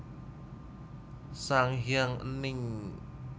Sang Hyang Ening